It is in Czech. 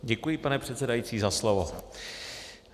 Děkuji, pane předsedající, za slovo.